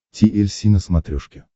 ти эль си на смотрешке